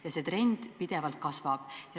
Ja see trend pidevalt kasvab.